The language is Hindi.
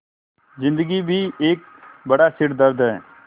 ज़िन्दगी भी एक बड़ा सिरदर्द है